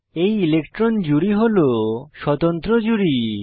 এই ইলেকট্রন জুড়ি হল স্বতন্ত্র জুড়ি